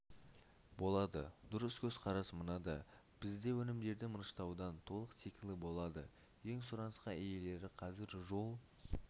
болады дұрыс көзқарас мынада бізде өнімдерді мырыштаудың толық циклі болады ең сұранысқа иелері қазір жол